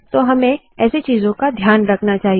तो हमें ऐसे चीजों का ध्यान रखना चाहिए